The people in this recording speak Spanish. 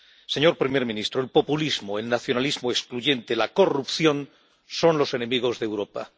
Señor primer ministro, el populismo, el nacionalismo excluyente, la corrupción son los enemigos de Europa.